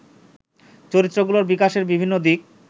চরিত্রগুলোর বিকাশের বিভিন্ন দিক